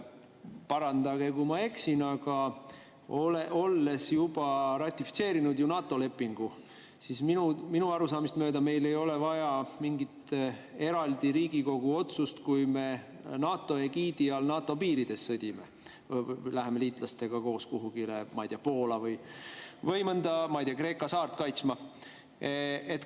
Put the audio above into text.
Parandage, kui ma eksin, aga olles juba ratifitseerinud NATO lepingu, ei ole meil minu arusaamist mööda vaja eraldi Riigikogu otsust, kui me NATO egiidi all NATO piirides sõdime, läheme liitlastega koos kuhugi, ma ei tea, Poola või mõnda Kreeka saart kaitsma.